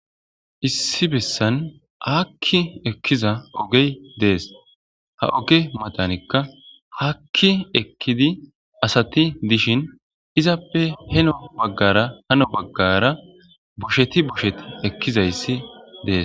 Issi bessan hakki ekkiza ogey dees ha oge matanikka haakki ekkidi asati dishin izappe heno baggara hano baggara bosheti boshet ekkizayssi dees.